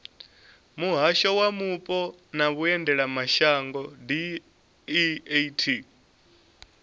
muhasho wa mupo na vhuendelamashango deat